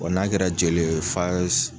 Wa n'a kɛra jeli ye f'a s